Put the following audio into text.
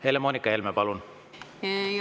Helle-Moonika Helme, palun!